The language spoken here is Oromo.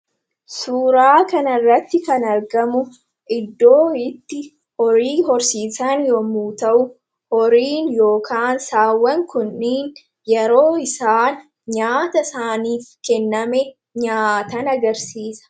Suuraa kanarratti kan argamu iddoo itti horii horsiisan yommuu ta'u, horiin yookaan saawwan kuni yeroo isaan nyaata isaaniif kenname nyaatan agarsiisa.